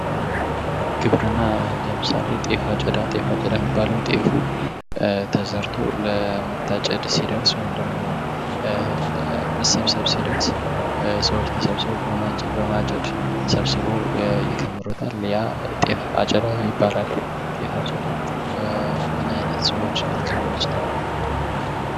ግብርና ለምሳሌ ጤፍ አጨዳ፤ ጤፍ አጨዳ የሚባለው ጤፉ ተዘርቶ ለመታጨድ ሲደርስ ወይም ደሞ መሰብሰብ ሲደርስ ሰዎች ተሰብስበው በማጨድ ሰብስበው ይከምሩታል፤ ያ ጤፍ አጨዳ ይባላል። ጤፍ አጨዳ እምናይነት ሰዎች ሊከወን ይችላል?